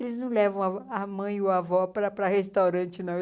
Eles não levam a vó a mãe e o a vó para o restaurante, não.